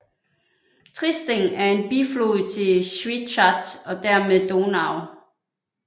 Triesting er en biflod til Schwechat og dermed Donau